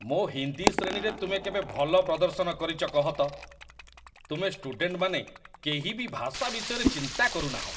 ମୋ ହିନ୍ଦୀ ଶ୍ରେଣୀରେ ତୁମେ କେବେ ଭଲ ପ୍ରଦର୍ଶନ କରିଛ କହ ତ? ତୁମେ ଷ୍ଟୁଡେଣ୍ଟମାନେ କେହି ବି ଭାଷା ବିଷୟରେ ଚିନ୍ତା କରୁନାହଁ।